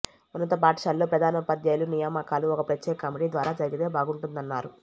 ఉన్నత పాఠశాలల్లో ప్రధానోపాధ్యాయుల నియామకాలు ఒక ప్రత్యేక కమిటీ ద్వారా జరిగితే బాగుంటుందన్నారు